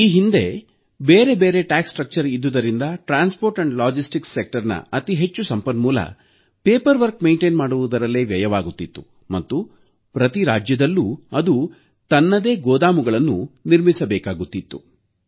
ಈ ಹಿಂದೆ ಬೇರೆಬೇರೆ ತೆರಿಗೆ ಪದ್ಧತಿ ಇದ್ದುದರಿಂದ ಸಾರಿಗೆ ಮತ್ತು ಸರಕು ಸಾಗಣೆ ವಲಯದ ಅತಿ ಹೆಚ್ಚು ಸಮಯ ಸಂಪನ್ಮೂಲ ಕಾಗದಪತ್ರ ನಿರ್ವಹಣೆ ಮಾಡುವುದರಲ್ಲೇ ವ್ಯಯವಾಗುತ್ತಿತ್ತು ಮತ್ತು ಪ್ರತಿ ರಾಜ್ಯದಲ್ಲೂ ಅದು ತನ್ನದೇ ಗೋದಾಮುಗಳನ್ನು ನಿರ್ಮಿಸಬೇಕಾಗುತ್ತಿತ್ತು